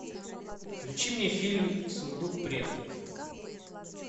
включи мне фильм сундук предков